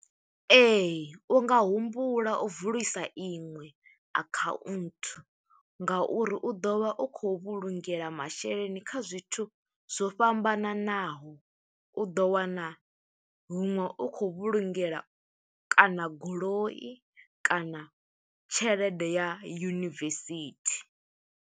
Ee, u nga humbula u vulisa iṅwe akhaunthu nga uri u ḓo vha u khou vhulungela masheleni kha zwithu zwo fhambananaho. U ḓo wana huṅwe u khou vhulungela, kana goloi, kana tshelede ya yunivesithi.